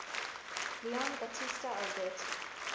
leon battista alberti